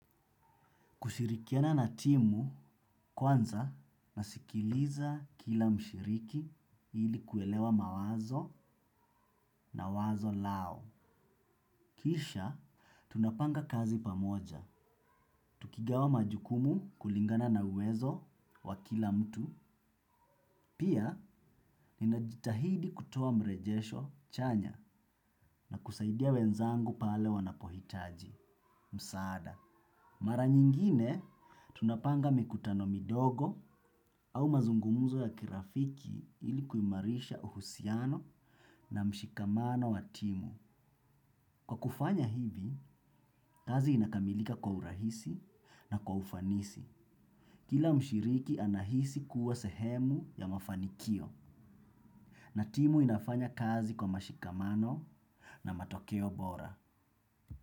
Kushirikiana na timu kwanza nasikiliza kila mshiriki ili kuelewa mawazo na wazo lao. Kisha, tunapanga kazi pamoja. Tukigawa majukumu kulingana na uwezo wa kila mtu. Pia, ninajitahidi kutoa mrejesho chanya na kusaidia wenzangu pale wanapohitaji. Msaada. Mara nyingine, tunapanga mikutano midogo au mazungumuzo ya kirafiki ili kuimarisha uhusiano na mshikamano wa timu. Kwa kufanya hivi, kazi inakamilika kwa urahisi na kwa ufanisi. Kila mshiriki anahisi kuwa sehemu ya mafanikio na timu inafanya kazi kwa mashikamano na matokeo bora.